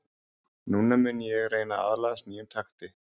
Núna mun ég reyna að aðlagast nýjum takti.